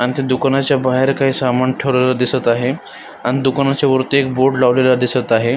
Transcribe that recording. अण त्या दुकानाच्या बाहेर काय सामान ठेवलेल दिसत आहे अण दुकानाच्या वरती एक बोर्ड लावलेला दिसत आहे.